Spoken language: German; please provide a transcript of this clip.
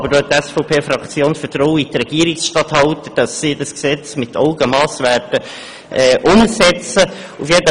Die SVP-Fraktion hat Vertrauen in die Regierungsstatthalter, dass sie dieses Gesetz mit Augenmass anwenden werden.